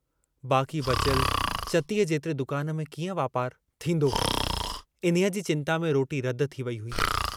बाकी बचियल चतीअ जेतिरे दुकान में कीअं वापारु इन्हीअ जी चिन्ता में रोटी रद थी वेई हुई।